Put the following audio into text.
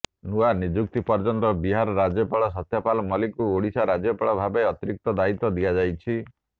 ନୂଆ ନିଯୁକ୍ତି ପର୍ଯ୍ୟନ୍ତ ବିହାର ରାଜ୍ୟପାଳ ସତ୍ୟପାଲ୍ ମଲ୍ଲିକଙ୍କୁ ଓଡ଼ିଶା ରାଜ୍ୟପାଳ ଭାବେ ଅତିରିକ୍ତ ଦାୟିତ୍ୱ ଦିଆଯାଇଛି